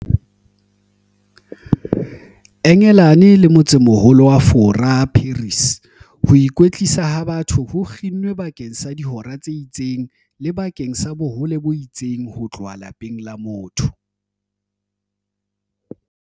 Engelane le motsemoho-lo wa Fora, Paris, ho ikwetlisa ha batho ho kginnwe bakeng sa dihora tse itseng le bakeng sa bohole bo itseng ho tloha lapeng la motho.